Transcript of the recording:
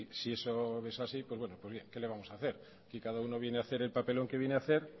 si eso es así pues bueno pues bien qué le vamos hacer aquí cada uno viene hacer el papelón que viene hacer